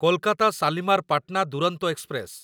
Kolkata Shalimar Patna Duronto express